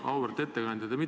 Auväärt ettekandja!